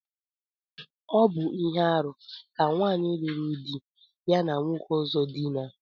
Ọ bu ihe-árú ka nwanyi luru di ya na nwoke ọzọ dina.